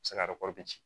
se ka di